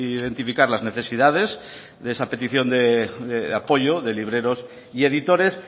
identificar las necesidades de esa petición de apoyo de libreros y editores